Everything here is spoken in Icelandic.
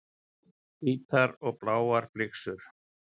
Hvítar og bláar flyksur.